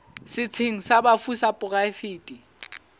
setsheng sa bafu sa poraefete